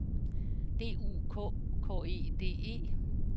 D U K K E D E